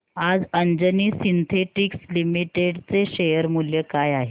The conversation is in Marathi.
आज अंजनी सिन्थेटिक्स लिमिटेड चे शेअर मूल्य काय आहे